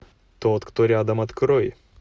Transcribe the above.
тот кто рядом открой